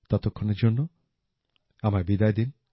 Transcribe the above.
ততক্ষণের জন্য আমায় বিদায় দিন